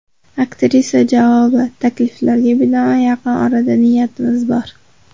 Aktrisa javobi: Takliflarga binoan yaqin orada niyatimiz bor.